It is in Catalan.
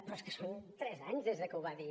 però és que són tres anys des de que ho va dir